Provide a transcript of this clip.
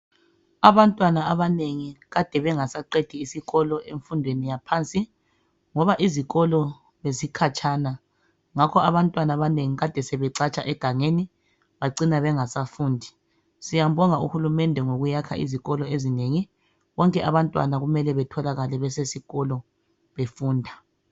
Abantwana abanengi kade bengasaqedi isikolo emfundweni yaphansi ngoba izikolo bezikhatshana ngakho abantwana abanengi kade sebecatsha egangeni bacina bengasafundi. Siyambonga UHulumende ngokuyakha izikolo ezinengi bonke abantwana kumele betholakale besesikolo befunda.